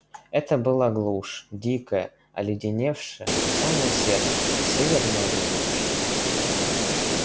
это была глушь дикая оледеневшая до самого сердца северная глушь